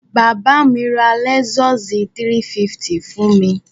Bàbá mi ra lẹ́sọ́ọ̀sì 350 fún mi.